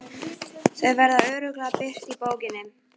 Þau verða örugglega birt í bókinni.